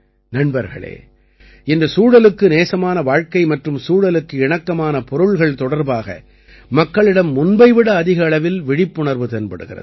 நண்பர்களே இன்று சூழலுக்கு நேசமான வாழ்கை மற்றும் சூழலுக்கு இணக்கமான பொருள்கள் தொடர்பாக மக்களிடம் முன்பை விட அதிக அளவில் விழிப்புணர்வு தென்படுகிறது